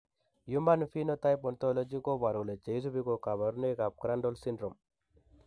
Human Phenotype Ontology koboru kole cheisubi ko kabarunoik ab Crandall syndrome